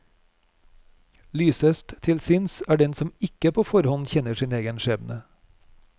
Lysest til sinns er den som ikke på forhånd kjenner sin egen skjebne.